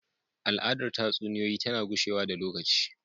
Al’adar tatsuniyoyi tana gushewa da lokaci.